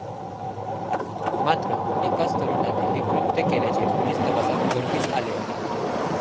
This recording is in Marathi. मात्र एकाच तरुणाने हे कृत्य केल्याचे पोलीस तपासात उघडकीस आले आहे.